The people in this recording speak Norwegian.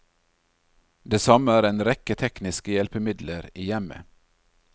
Det samme er en rekke tekniske hjelpemidler i hjemmet.